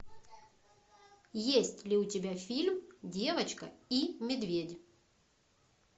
есть ли у тебя фильм девочка и медведь